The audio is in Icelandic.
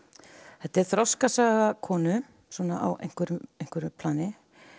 þetta er þroskasaga konu svona á einhverju einhverju plani